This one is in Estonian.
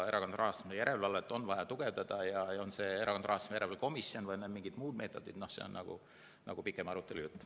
Erakondade rahastamise järelevalvet on vaja tugevdada ja kas selleks on Erakondade Rahastamise Järelevalve Komisjon või mingid muud meetodid, see on pikem arutelu ja jutt.